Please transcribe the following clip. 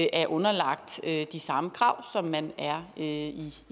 er underlagt de samme krav som man er i i